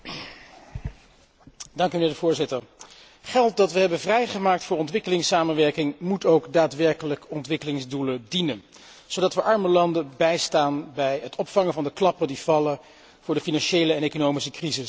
Voorzitter, geld dat we hebben vrijgemaakt voor ontwikkelingssamenwerking moet ook daadwerkelijk ontwikkelingsdoelen dienen, zodat we arme landen bijstaan bij het opvangen van de klappen die vallen door de financiële en economische crisis die zij niet hebben veroorzaakt.